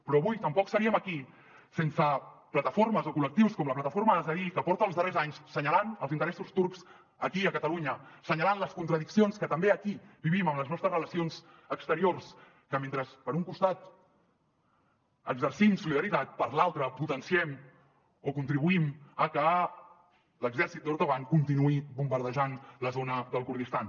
però avui tampoc seríem aquí sense plataformes o col·lectius com la plataforma azadî que porta els darrers anys assenyalant els interessos turcs aquí a catalunya assenyalant les contradiccions que també aquí vivim amb les nostres relacions exteriors que mentre per un costat exercim solidaritat per l’altre potenciem o contribuïm a que l’exèrcit d’erdoğan continuï bombardejant la zona del kurdistan